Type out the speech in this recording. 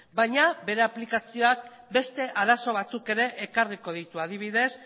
baina bere aplikazioak beste arazo batzuk ere ekarriko ditu adibidez